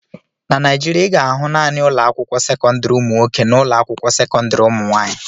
Na Naijiria, ị ga-ahụ naanị ụlọ akwụkwọ sekọndrị ụmụ nwoke na ụlọ akwụkwọ sekọndrị ụmụ nwaanyị.